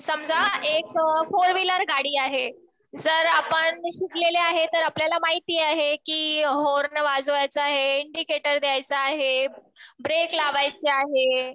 समजा एक four wheeler गाडी आहे. जर आपण शिकलेले आहे तर आपल्याला महिती आहे कि हॉर्न वाजवायचा आहे, इंडिकेटर द्यायचं आहे, ब्रेक लावायचे आहे.